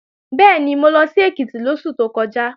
Bẹ́ẹ̀ni, mo lọ sí Èkìtì lóṣù tó kọjá